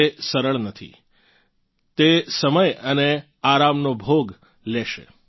તે સરળ નથી તે સમય અને આરામનો ભોગ બલિદાન લેશે